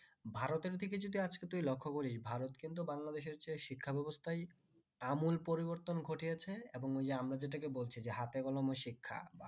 ভারত এর দিকে আজকে তুই যদি লক্ষ করিস ভারত কিন্তু বাংলাদেশের চেয়ে শিক্ষা ব্যাবস্থায় আমূল পরিবর্তন ঘটিয়েছে এবং ওই যে আমরা যেটাকে বলছি যে হাতেকলমে শিক্ষা